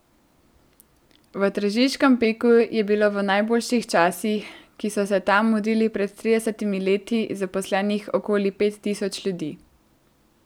V tržiškem Peku je bilo v najboljših časih, ki so se tam mudili pred tridesetimi leti, zaposlenih okoli pet tisoč ljudi.